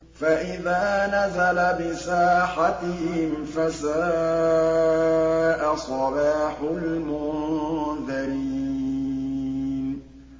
فَإِذَا نَزَلَ بِسَاحَتِهِمْ فَسَاءَ صَبَاحُ الْمُنذَرِينَ